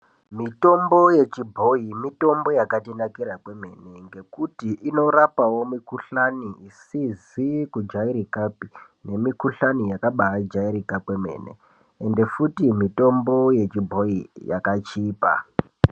Mitombo yechibhoyi mitombo yakatinakira kwemene ngekuti inorapawo mukhuhlani isizi kujairikapi nemikhuhlani yakabajairika kwemene ende futi yechibhoyi yakachipa.